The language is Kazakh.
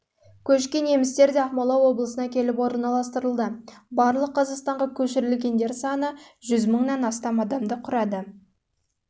көшкен немістер де ақмола облысына келіп орналастырылды тауып барлық қазақстанға көшірілгендер саны адамды құрады